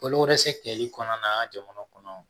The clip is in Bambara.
Balo se kɛli kɔnɔna